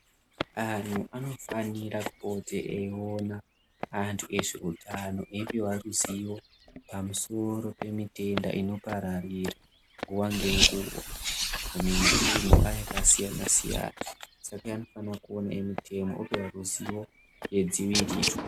Anhu anofanira kuti eiona antu ezveutano anhu eioihwa ruzivo pamusoro pemitenda inopararira nguwa ngenguwa kumitunhu yakasiyana-siyana Saka anofana kuona emitemo opihwa ruzivo yedziviriro.